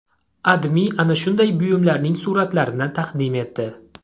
AdMe ana shunday buyumlarning suratlarini taqdim etdi .